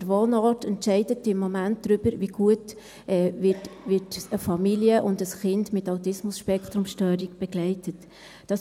Der Wohnort entscheidet im Moment darüber, wie gut eine Familie und ein Kind mit ASS begleitet werden.